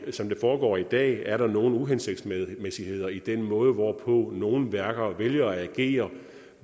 foregår i dag er der nogle uhensigtsmæssigheder i den måde hvorpå nogle værker vælger at agere